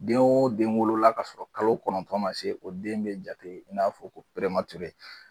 Den o den wolola kasɔrɔ kalo kɔnɔntɔn ma se o den bɛ jate i n'a fɔ ko